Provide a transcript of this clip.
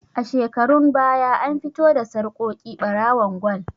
A shekarun baya an fito da sarƙoƙi ɓarawon gwal